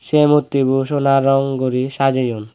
say mukti bo sona rong guri sajayoun.